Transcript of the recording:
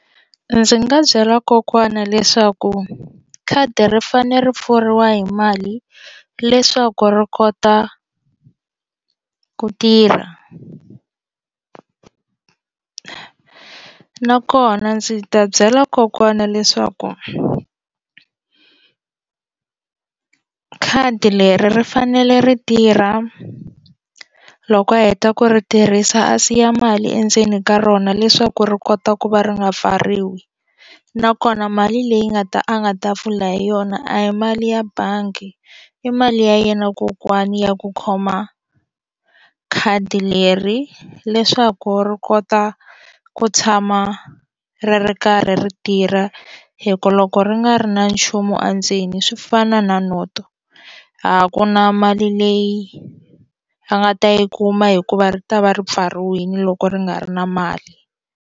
Ndzi nga byela kokwana leswaku khadi ri fanele ri pfuriwa hi mali leswaku ri kota ku tirha nakona ndzi ta byela kokwana leswaku khadi leri ri fanele ri tirha loko a heta ku ri tirhisa a siya mali endzeni ka rona leswaku ri kota ku va ri nga pfariwi nakona mali leyi nga ta a nga ta pfula hi yona a hi mali ya bangi i mali ya yena kokwani ya ku khoma khadi leri leswaku ri kota ku tshama ri ri karhi ri tirha hi ku loko ri nga ri na nchumu endzeni swi fana na noto a ku na mali leyi a nga ta yi kuma hikuva ri ta va ri pfariwile loko ri nga ri na mali.